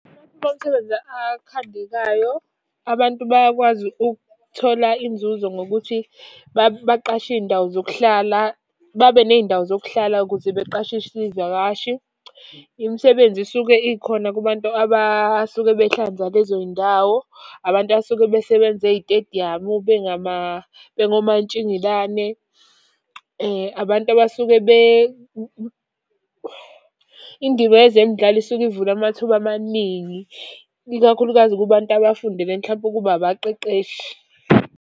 Amathuba omsebenzi akhandekayo, abantu bayakwazi ukuthola inzuzo ngokuthi baqashe iy'ndawo zokuhlala, babe ney'ndawo zokuhlala ukuze beqashise iy'vakashi. Imisebenzi isuke ikhona kubantu abasuke behlanza lezoy'ndawo. Abantu abasuke besebenza ey'tediyamu, bengomantshingelani. Abantu abasuke . Indima yezemidlalo isuke ivule amathuba amaningi, ikakhulukazi kubantu abafundele mhlampe ukuba abaqeqeshi.